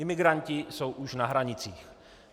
Imigranti jsou už na hranicích.